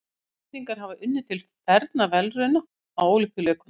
Íslendingar hafa unnið til fernra verðlauna á Ólympíuleikum.